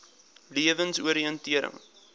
lewensoriëntering